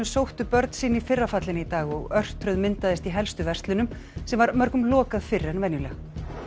sóttu börnin sín í fyrra fallinu í dag og örtröð myndaðist í helstu verslunum sem var mörgum lokað fyrr en venjulega